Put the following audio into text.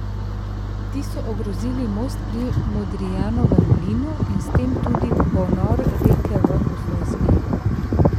Ti so ogrozili most pri Modrijanovem mlinu in s tem tudi ponor reke v Postojnski jami.